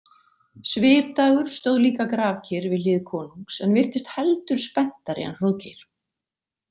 Svipdagur stóð líka grafkyrr við hlið konungs en virtist heldur spenntari en Hróðgeir.